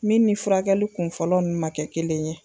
Min ni furakɛli kun fɔlɔ nu ma kɛ kelen ye